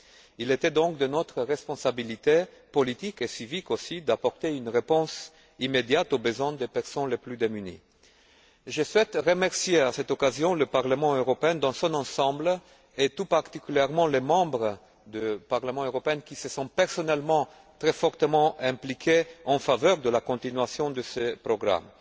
Il était donc de notre responsabilité politique et civique aussi d'apporter une réponse immédiate aux besoins des personnes les plus démunies. Je souhaite remercier à cette occasion le Parlement européen dans son ensemble, et tout particulièrement les députés qui se sont personnellement très fortement impliqués en faveur de la continuation de ces programmes.